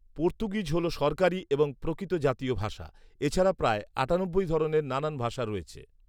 Portuguese হল সরকারী এবং প্রকৃত জাতীয় ভাষা। এ ছাড়া প্রায় আটানব্বই ধরনের নানা ভাষা রয়েছে।